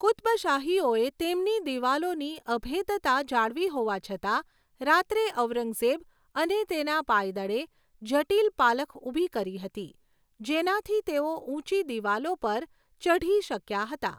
કુત્બશાહીઓએ તેમની દિવાલોની અભેધતા જાળવી હોવા છતાં, રાત્રે ઔરંગઝેબ અને તેના પાયદળે જટિલ પાલખ ઊભી કરી હતી જેનાથી તેઓ ઊંચી દિવાલો પર ચઢી શક્યા હતા.